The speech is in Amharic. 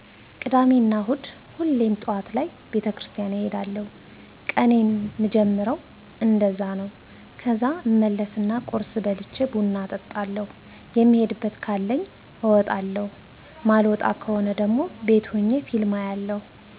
ቅዳሜና እሁድ ሁሌም ጠዋት ላይ ቤተክርስቲያን እሄዳለዉ ቀኔን ምጀምረዉ እንደዛ ነዉ ከዛ እመለስና ቁርስ በልቸ ቡና እጠጣለዉ የምሄድበት ካለኝ አወጣለዉ ማልወጣ ከሆነ ደሞ ቤት ሆኘ ፊልም አያለዉ